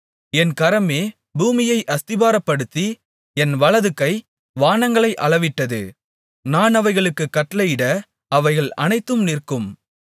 என் கரமே பூமியை அஸ்திபாரப்படுத்தி என் வலதுகை வானங்களை அளவிட்டது நான் அவைகளுக்குக் கட்டளையிட அவைகள் அனைத்தும் நிற்கும்